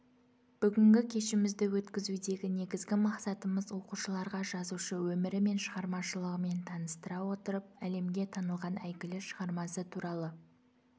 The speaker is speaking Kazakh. бүгінгі кешімізді өткізудегі негізгі мақсатымыз оқушыларға жазушы өмірі мен шығармашылығымен таныстыра отырып әлемге танылған әйгілі шығармасы туралы